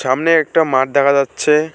সামনে একটা মাঠ দেখা যাচ্ছে।